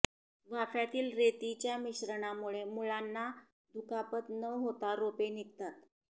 वाफ्यातील रेतीच्या मिश्रणामुळे मुळांना दुखापत न होता रोपे निघतात